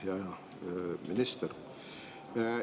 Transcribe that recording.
Hea minister!